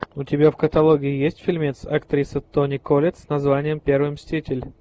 у тебя в каталоге есть фильмец актриса тони коллетт с названием первый мститель